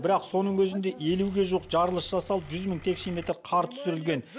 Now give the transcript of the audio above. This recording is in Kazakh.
бірақ соның өзінде елуге жуық жарылыс жасалып жүз мың текше метр қар түсірілген